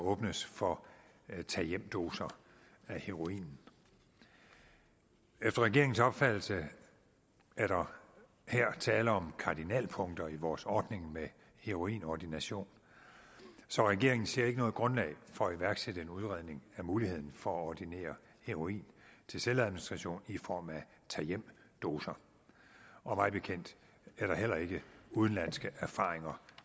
åbnes for tag hjem doser af heroin efter regeringens opfattelse er der her tale om kardinalpunkter i vores ordning med heroinordination så regeringen ser ikke noget grundlag for at iværksætte en udredning af muligheden for at ordinere heroin til selvadministration i form af tag hjem doser og mig bekendt er der heller ikke udenlandske erfaringer